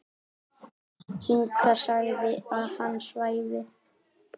Inga sagði að hann svæfi.